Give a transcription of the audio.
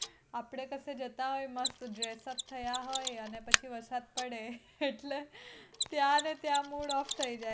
આપડે કશે જતા હોઈયે મસ્ત dressup થયા હોઈએ અને પછી વરસાદ પડે એટલે ત્યાં ને ત્યાં mood off થઈ જાય